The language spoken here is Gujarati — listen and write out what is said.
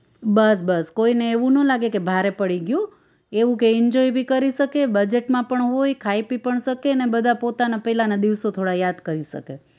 બસ બસ કોઈને એવું નો લાગે કે ભારે પડી ગયું એવું કઈ enjoy ભી કરી શકીએ budget માં પણ હોય ખાઈ પી પણ શકીએને બધા પોતાના પેલાના દિવસો થોડા યાદ કરી શકે